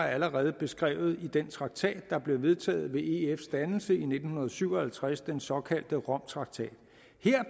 allerede er beskrevet i den traktat der blev vedtaget ved efs dannelse i nitten syv og halvtreds den såkaldte romtraktat